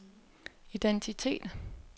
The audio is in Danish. identitet